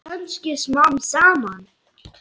Kannski smám saman.